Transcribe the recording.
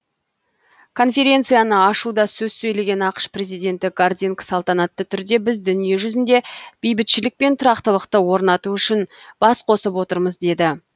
конференцияны ашуда сөз сөйлеген ақш президенті гардинг салтанатты түрде біз дүниежүзінде бейбітшілік пен тұрақтылықты орнату үшін бас қосып отырмыз деді